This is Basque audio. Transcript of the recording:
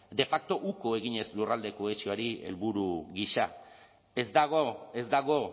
de facto uko eginez lurralde kohesioari helburu gisa ez dago ez dago